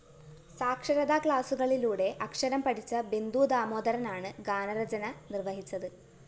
സാക്ഷരതാ ക്ലാസുകളിലൂടെ അക്ഷരം പഠിച്ച ബിന്ദു ദാമോദരനാണ് ഗാനരചന നിര്‍വഹിച്ചത്